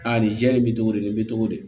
Aa nin jɛlen bɛ togo di i bɛ togo di